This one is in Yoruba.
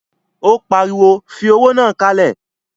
Ó pariwo, fi owó náà kalẹ̀!